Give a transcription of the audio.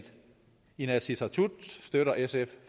inatsisartut støtter sf